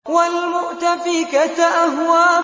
وَالْمُؤْتَفِكَةَ أَهْوَىٰ